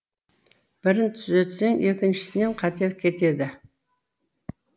бірін түзетсең екіншісінен қате кетеді